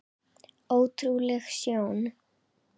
Ótrúleg sjón.